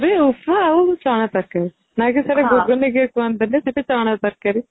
ପୁରୀ, ଉପମା ଆଉ ଚଣା ତରକାରୀ ନା କି ସେଟା ଘୁଗୁନି କେହି କୁହନ୍ତି ନି ସେଟା ଚଣା ତରକାରୀ |